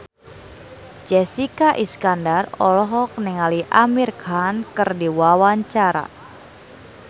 Jessica Iskandar olohok ningali Amir Khan keur diwawancara